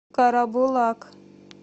карабулак